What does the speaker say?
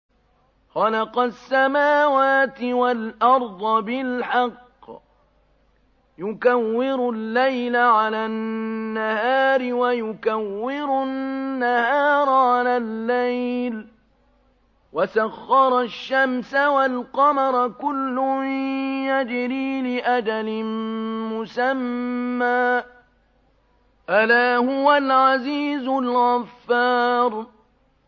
خَلَقَ السَّمَاوَاتِ وَالْأَرْضَ بِالْحَقِّ ۖ يُكَوِّرُ اللَّيْلَ عَلَى النَّهَارِ وَيُكَوِّرُ النَّهَارَ عَلَى اللَّيْلِ ۖ وَسَخَّرَ الشَّمْسَ وَالْقَمَرَ ۖ كُلٌّ يَجْرِي لِأَجَلٍ مُّسَمًّى ۗ أَلَا هُوَ الْعَزِيزُ الْغَفَّارُ